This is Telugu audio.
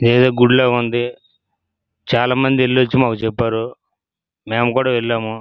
ఇదేదో గుడి లాగా ఉంది. చాలా మంది ఎలోచి మాకు చెప్పారు మేము కూడా వెళ్ళాము.